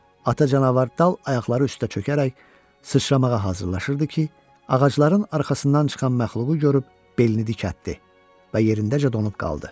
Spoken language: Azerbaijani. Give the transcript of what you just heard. Ata canavar dal ayaqları üstə çökərək sıçramağa hazırlaşırdı ki, ağacların arxasından çıxan məxluğu görüb belini dikəltdi və yerindəcə donub qaldı.